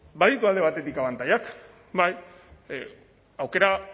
baditu alde batetik abantailak bai aukera